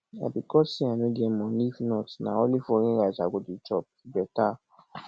na because say i no get money if not na only foreign rice i go dey chop better